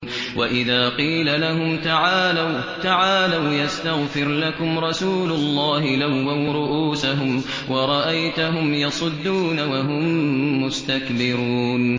وَإِذَا قِيلَ لَهُمْ تَعَالَوْا يَسْتَغْفِرْ لَكُمْ رَسُولُ اللَّهِ لَوَّوْا رُءُوسَهُمْ وَرَأَيْتَهُمْ يَصُدُّونَ وَهُم مُّسْتَكْبِرُونَ